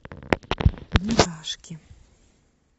мурашки